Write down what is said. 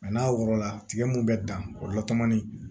n'a wɔrɔ la tigɛ mun be dan o la tɔmɔni